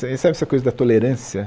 Sabe essa coisa da tolerância?